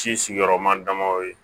Ci sigiyɔrɔma damadɔ ye